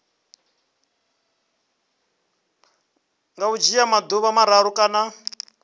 nga dzhia maḓuvha mararu kana